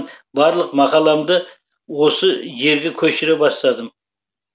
барлық мақаламды осы жерге көшіре бастадым